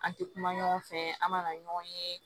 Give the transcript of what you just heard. An tɛ kuma ɲɔgɔn fɛ an ma ɲɔgɔn ye